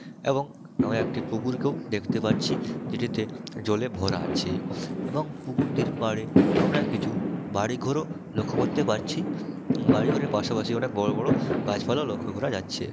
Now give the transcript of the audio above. এবং আমি একটি পুকুরকেও দেখতে পাচ্ছি যেটিতে জলে ভরা আছে এবং পুকুরটির পাড়ে আমরা কিছু বাড়িঘরও লক্ষ্য করতে পারছি বাড়িঘরের পাশাপাশি অনেক বড়ো বড়ো গাছপালাও লক্ষ্য করা যাচ্ছে।